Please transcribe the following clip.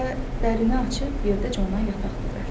Və dərini açıb yerdə ona yataq düzəltdi.